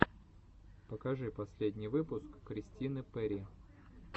покажи последний выпуск кристины перри